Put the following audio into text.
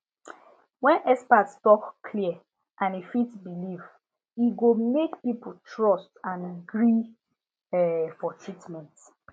when experts talk clear and e fit belief e go make people trust and gree um for treatment